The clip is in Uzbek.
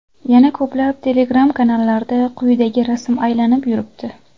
Yana ko‘plab Telegram-kanallarda quyidagi rasm aylanib yuribdi.